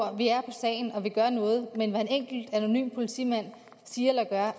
at vi er på sagen og at vi gør noget men hvad en enkelt anonym politimand siger eller gør har